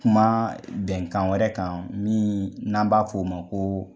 Kuma bɛnkan wɛrɛ kan, min n'an b'a f'o ma ko